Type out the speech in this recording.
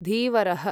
धीवरः